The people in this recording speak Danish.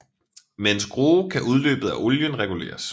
Med en skrue kan udløbet af olien reguleres